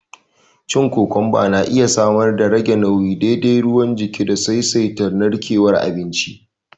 Cin kokomba yana iya samar darage nauyi, daidaita ruwan jiki da saisaita narkewar abinci